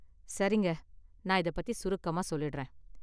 சரிங்க, நான் இதைப் பத்தி சுருக்கமாக சொல்லிடுறேன்.